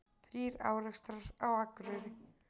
Þrír árekstrar á Akureyri